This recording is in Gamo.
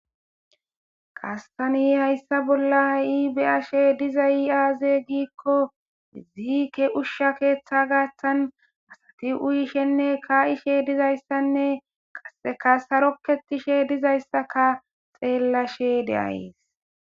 qassani hayssa bolla a7iibeashe diza iaaze giikko ziike ushsha keeththa gaaththan asati uyishenne kaa7ishe dizayssanne qaeka sarokketishe dizayssaka xeellashe deayes